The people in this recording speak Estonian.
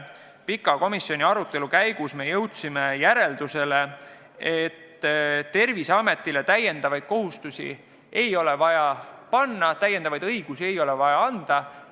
Pika arutelu käigus jõudsime järeldusele, et Terviseametile täiendavaid kohustusi ei ole vaja panna, täiendavaid õigusi ei ole vaja anda.